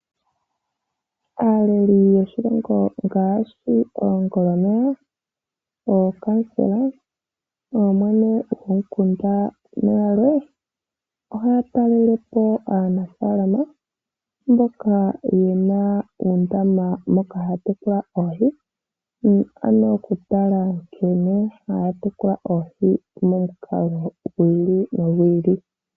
Aaleli yoshilongo ngaashi oongoloneya, ookamusela, ooyene yomikunda nayalwe ohaya talele po aanafaalama mboka ye na uundama moka haya tekula oohi, ano okutala nkene haya tekula oohi momukalo gwi ili nogwi ili.